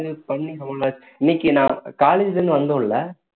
அது பண்ணி இன்னைக்கு நான் college ல இருந்து வந்தோம் இல்ல